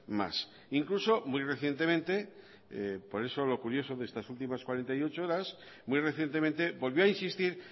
más incluso muy recientemente por eso lo curioso de estas últimas cuarenta y ocho horas muy recientemente volvió a insistir